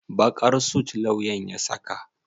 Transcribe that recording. Baƙar sut lauyan ya saka?